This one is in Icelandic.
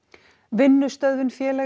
vinnustöðvun félaga